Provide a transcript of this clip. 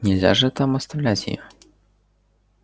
нельзя же там оставлять её